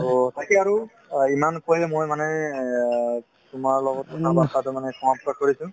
to তাকে আৰু অ ইমান মই মানে অ তোমাৰ লগত কথা বাতৰাতো মানে সমাপ্ত কৰিছো